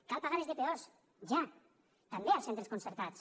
cal pagar les de dpos ja també els centres concertats